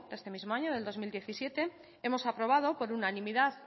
de este mismo año del dos mil diecisiete hemos aprobado por unanimidad